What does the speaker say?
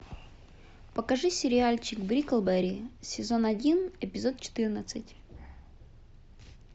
покажи сериальчик бриклберри сезон один эпизод четырнадцать